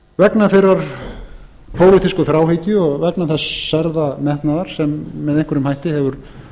vegna þeirrar pólitísku þráhyggju og vegna þess særða metnaðar sem með einhverjum hætti hefur